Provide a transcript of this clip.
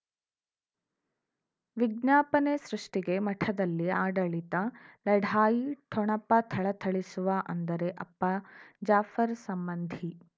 ವಿಜ್ಞಾಪನೆ ಸೃಷ್ಟಿಗೆ ಮಠದಲ್ಲಿ ಆಡಳಿತ ಲಢಾಯಿ ಠೊಣಪ ಥಳಥಳಿಸುವ ಅಂದರೆ ಅಪ್ಪ ಜಾಫರ್ ಸಂಬಂಧಿ